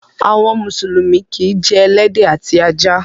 Àwọn mùsùlùmí kìí jẹ ẹlẹ́dẹ̀ àti ajá.